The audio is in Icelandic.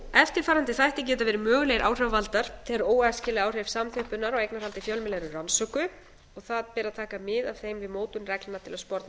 eftirfarandi þættir geta verið mögulegir áhrifavaldar þegar óæskileg áhrif samþjöppunar á eignarhaldi fjölmiðla eru rannsökuð og það ber að taka mið af þeim við mótun reglna til að sporna við